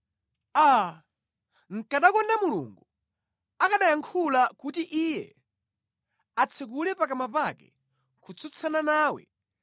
Aa, nʼkanakonda Mulungu akanayankhula kuti Iye atsekule pakamwa pake kutsutsana nawe